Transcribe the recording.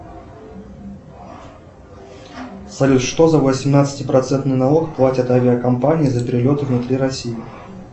салют что за восемнадцати процентный налог платят авиакомпании за перелеты внутри россии